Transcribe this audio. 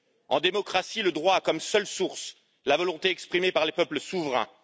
En démocratie, le droit a comme seule source la volonté exprimée par les peuples souverains.